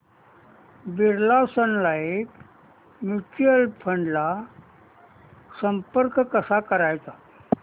Birla Sun Life mutual fund ला संपर्क कसा करायचा